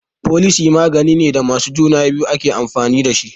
Folosi maganine da masu juna biyu ake amfani dashi